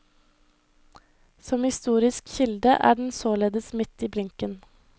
Som historisk kilde er den således midt i blinken.